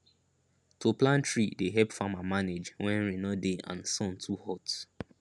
to plant tree dey help farmer manage when rain no dey and sun too hot